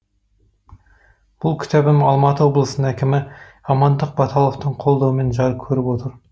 бұл кітабым алматы облысының әкімі амандық баталовтың қолдауымен жарық көріп отыр